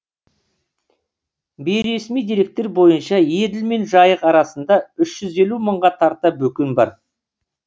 бейресми деректер бойынша еділ мен жайық арасында үш жүз елу мыңға тарта бөкен бар